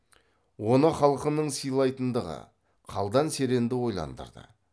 оны халқының сыйлайтындығы қалдан серенді ойландырды